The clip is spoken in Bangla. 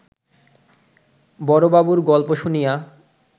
বড়বাবুর গল্প শুনিয়া